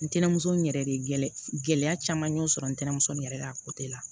Ntɛnɛnmuso n yɛrɛ de gɛlɛya caman y'o sɔrɔ ntɛnɛmuso nin yɛrɛ la la